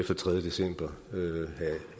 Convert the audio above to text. den tredje december have